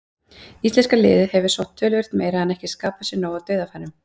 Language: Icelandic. Íslenska liðið hefur sótt töluvert meira en ekki skapað sér nóg af dauðafærum.